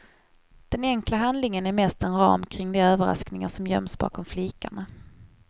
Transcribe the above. Den enkla handlingen är mest en ram kring de överraskningar som göms bakom flikarna.